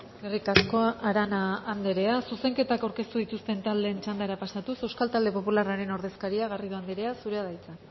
eskerrik asko arana andrea zuzenketak aurkeztu dituzten taldeen txandara pasatuz euskal talde popularraren ordezkaria garrido andrea zurea da hitza